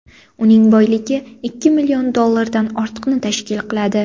Uning boyligi ikki million dollardan ortiqni tashkil qiladi.